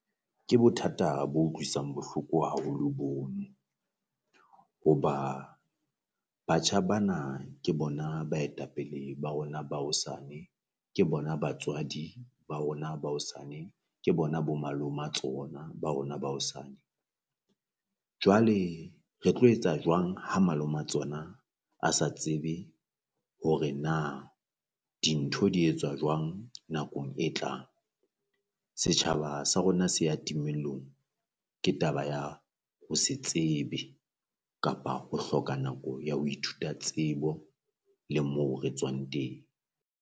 Ke bothata bo utlwisang bohloko haholo bono, hoba batjha bana ke bona baetapele ba rona ba hosane ke bona batswadi ba rona ba hosane, Ke bona bo maloma tsona ba rona ba hosane. Jwale re tlo etsa jwang ha maloma tsona a sa tsebe hore na dintho di etsuwa jwang nakong e tlang? Setjhaba sa rona se a timellong ke taba ya ho se tsebe kapa ho hloka nako ya ho ithuta tsebo le moo re tswang teng.